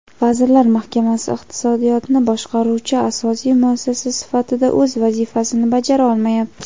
Vazirlar Mahkamasi iqtisodiyotni boshqaruvchi asosiy muassasa sifatida o‘z vazifasini bajara olmayapti.